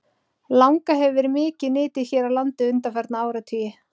Langa hefur verið mikið nytjuð hér á landi undanfarna áratugi.